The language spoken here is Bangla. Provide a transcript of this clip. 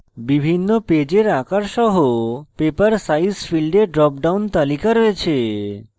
বিভিন্ন paper আকার সহ paper size ফীল্ডে drop down তালিকা রয়েছে